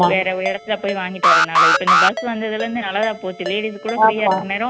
வேற இடத்துல போயி வாங்கிட்டு வர்றனால இப்போ இந்த bus வந்ததுல இருந்து நல்லதா போச்சு ladies கூட free ஆ இருக்க நேரம்